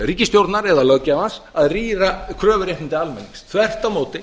ríkisstjórnar eða löggjafans að rýra kröfuréttindi almennings þvert á móti